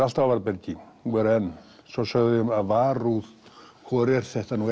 alltaf á varðbergi og eru enn svo sögðu þau varúð hvor er þetta nú